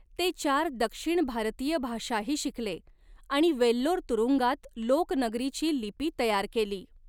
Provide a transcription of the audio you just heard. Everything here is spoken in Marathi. ते चार दक्षिण भारतीय भाषाही शिकले आणि वेल्लोर तुरुंगात लोक नगरीची लिपी तयार केली.